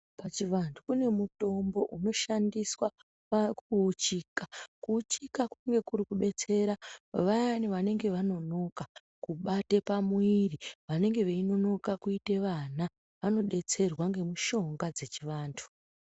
Pachivantu kune mutombo unoshandiswa pakuuchika. Kuuchika kunge kunobetsera vayani vanenge vanonoka kubata pamuiri. Vanenge veinonoka kuita vana vanodetserwa ngemushonga dzechivantu.